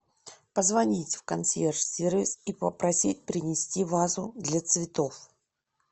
позвонить в консьерж сервис и попросить принести вазу для цветов